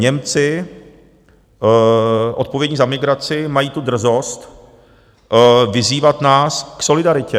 Němci, odpovědní za migraci, mají tu drzost vyzývat nás k solidaritě.